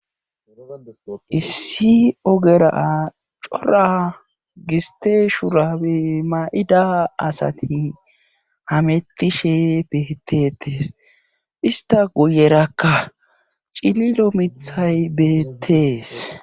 issi ogera cora gisteeshurabe ma7ida asati hamettishe beetetes ista guyerakka cililo mithay beettees